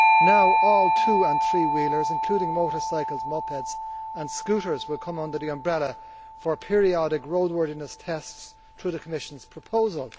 now all two and three wheelers including motorcycles, mopeds and scooters, will come under the umbrella for periodic roadworthiness tests through the Commission's proposal.